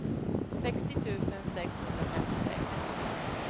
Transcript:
sextio tusen sexhundrafemtiosex